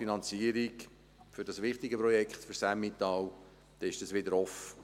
Die Finanzierung für dieses für das Emmental wichtige Projekt wäre wieder offen.